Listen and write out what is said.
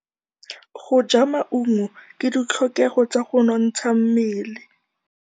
Go ja maungo ke ditlhokegô tsa go nontsha mmele.